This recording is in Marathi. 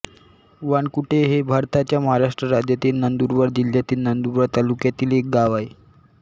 वानकुटे हे भारताच्या महाराष्ट्र राज्यातील नंदुरबार जिल्ह्यातील नंदुरबार तालुक्यातील एक गाव आहे